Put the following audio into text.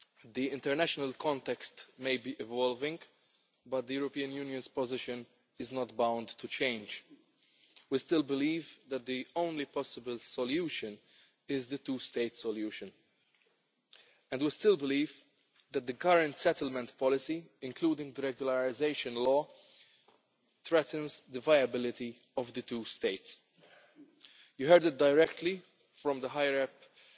The international context may be evolving, but the European Union's position is not bound to change. We still believe that the only possible solution is the two state solution, and we still believe that the current settlement policy, including the regularisation law, threatens the viability of the two states. You heard it directly from the High Representative